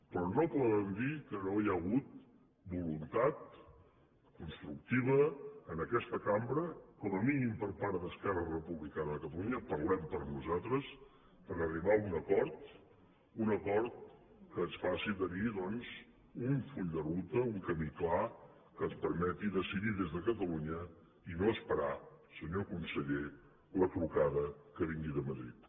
però no poden dir que no hi ha hagut voluntat constructiva en aquesta cambra com a mínim per part d’esquerra republicana parlem per nosaltres per arribar a un acord a un acord que ens faci tenir doncs un full de ruta un camí clar que ens permeti decidir des de catalunya i no esperar senyor conseller la trucada que vingui de madrid